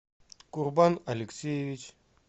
курбан алексеевич